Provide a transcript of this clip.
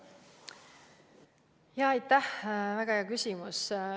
Aitäh, väga hea küsimus!